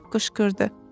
deyib qışqırdı.